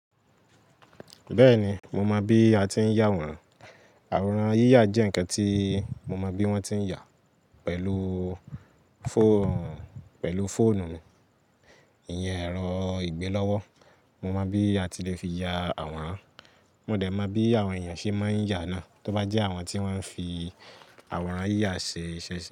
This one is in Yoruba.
Bẹ́ẹ̀ni, mo mọ bí a ti ń ya àwòrán. Àwòrán yíyà jẹ́ ǹkan tí mo mọ bí wọ́n ti ń yà á pẹ̀lú fóònù mi. Ìyẹn ẹ̀rọ ìgbe lọ́wọ́. Mo mọ bí a ti lè fi ya àwòrán. Mo dẹ̀ mọ bí àwọn èèyàn ṣe máa ń yà á náà, tó bá jẹ́ àwọn tí wọ́n ń fi àwòrán yíyà ṣe iṣẹ́ se.